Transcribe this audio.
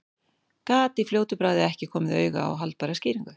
Gat í fljótu bragði ekki komið auga á aðra haldbæra skýringu.